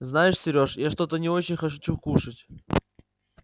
знаешь сереж я что-то не очень хочу кушать